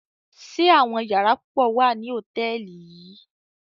Ṣe àwọn yàrá pupọ wa ni hotẹẹli yii?